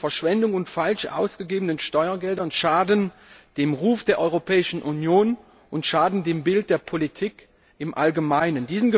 Meldungen über Verschwendungen und falsch ausgegebene Steuergelder schaden dem Ruf der Europäischen Union und schaden dem Bild der Politik im Allgemeinen.